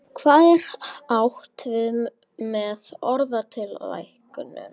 Hvað er átt við með orðatiltækinu?